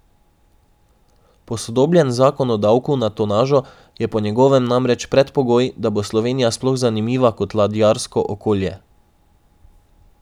Posodobljen zakon o davku na tonažo je po njegovem namreč predpogoj, da bo Slovenija sploh zanimiva kot ladjarsko okolje.